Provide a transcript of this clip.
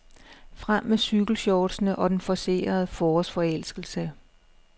Frem med cykelshortsene og den forcerede forårsforelskelse.